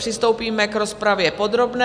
Přistoupíme k rozpravě podrobné.